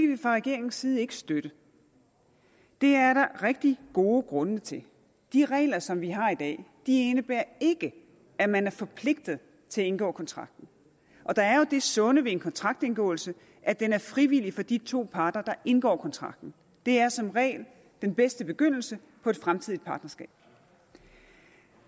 vi fra regeringens side ikke støtte det er der rigtig gode grunde til de regler som vi har i dag indebærer ikke at man er forpligtet til at indgå kontrakten og der er jo det sunde ved en kontraktindgåelse at den er frivillig for de to parter der indgår kontrakten det er som regel den bedste begyndelse på et fremtidigt partnerskab